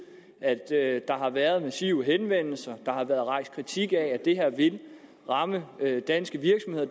at der har været massive henvendelser og der har været rejst kritik af at det her vil ramme danske virksomheder